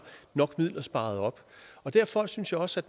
nok midler sparet op derfor synes jeg også